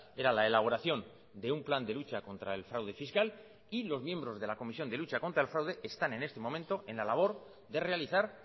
era la elaboración de un plan de lucha contra el fraude fiscal y los miembros de la comisión de lucha contra el fraude están en este momento en la labor de realizar